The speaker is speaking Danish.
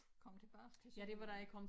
Kom tilbage til Sønderjylland